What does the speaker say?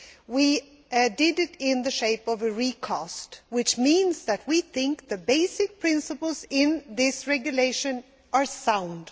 We did it in the shape of a recast, which means that we think the basic principles in this regulation are sound